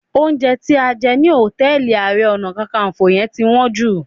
Oúnjẹ tí a jẹ ní hòtẹ́ẹ̀lì Ààrẹ Ọ̀nà Kakaǹfò yẹn ti wọ́n jù